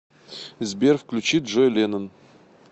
сбер включи джой леннон